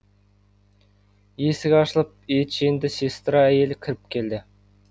есік ашылып етженді сестра әйел кіріп келді